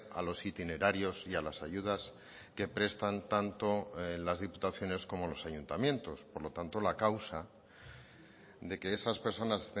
a los itinerarios y a las ayudas que prestan tanto las diputaciones como los ayuntamientos por lo tanto la causa de que esas personas